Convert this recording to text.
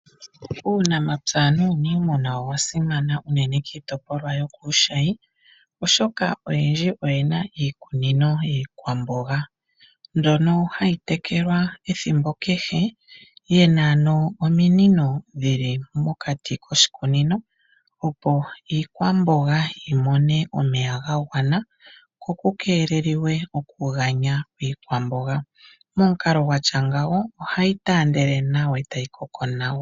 Uunamapya nuuniimuna owa simana unene kiitopolwa yokuushayi oshoka oyendji oyena iikunino yiikwamboga, mbyono hayi tekelwa ethimbo kehe, yena ano ominino dhili mokati koshikunino, opo iikwamboga yimone omeya ga gwana , kokukeelelwe oku ganya kwiikwamboga. Momukalo gatya ngawo ohayi taandele e tayi koko nawa.